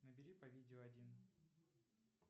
набери по видео один